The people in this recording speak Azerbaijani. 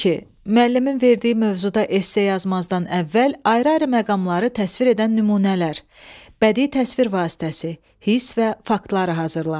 Müəllimin verdiyi mövzuda esse yazmazdan əvvəl ayrı-ayrı məqamları təsvir edən nümunələr, bədii təsvir vasitəsi, hiss və faktları hazırla.